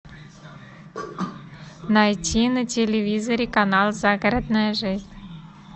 найти на телевизоре канал загородная жизнь